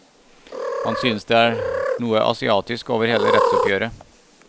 Han synes det er noe asiatisk over hele rettsoppgjøret.